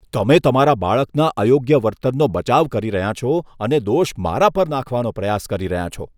તમે તમારા બાળકના અયોગ્ય વર્તનનો બચાવ કરી રહ્યાં છો અને દોષ મારા પર નાખવાનો પ્રયાસ કરી રહ્યાં છો.